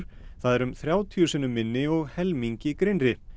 það er um þrjátíu sinnum minni og helmingi grynnri